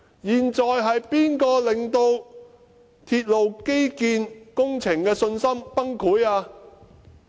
現時是誰人令到大眾對鐵路基建工程的信心崩潰？